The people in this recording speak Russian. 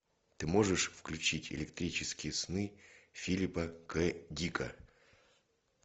ты можешь включить электрические сны филипа к дика